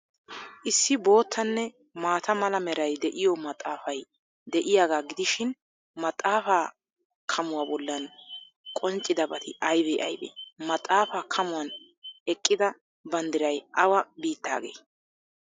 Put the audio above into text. Issi boottanne maata mala meray de'iyoo maxaafay de'iyaagaa gidishin, maxaafaa kamuwa bollan qonccidabati aybee aybee? Maxaafaa kamuwan eqqidda banddiray awa biittaagee?